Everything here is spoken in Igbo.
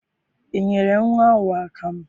I nyere nnwa ahụ akamụ?